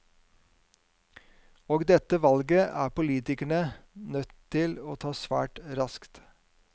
Og dette valget er politikerne nødt til å ta svært raskt.